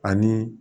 Ani